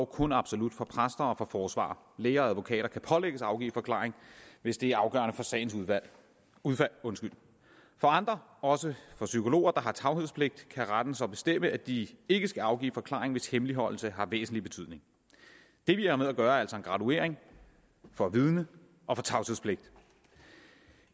kun absolut for præster og for forsvarere læger og advokater kan pålægges at afgive forklaring hvis det er afgørende for sagens udfald for andre også for psykologer der har tavshedspligt kan retten så bestemme at de ikke skal afgive forklaring hvis hemmeligholdelse har væsentlig betydning det vi har med at gøre er altså en graduering for vidne og for tavshedspligt